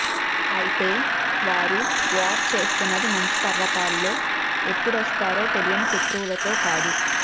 అయితే వారు వార్ చేస్తున్నది మంచు పర్వతాల్లో ఎప్పుడొస్తారో తెలియని శత్రువులతో కాదు